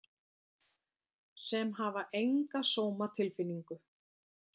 Sem hafa enga sómatilfinningu.